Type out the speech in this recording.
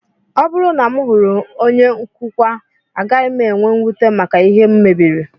Ọ bụrụ na m hụrụ onye nkụkwa, agaghị m enwe mwute maka ihe m mebiri